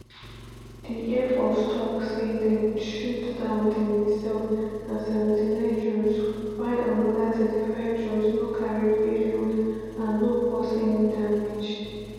di air force tok say dem shoot down di missile and 79 drones while another 35 drones no carry payload and no cause any damage.